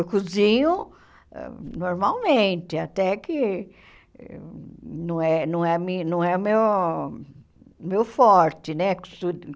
Eu cozinho normalmente, até que não é não é mi não é meu meu forte, né?